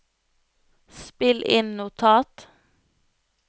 spill inn notat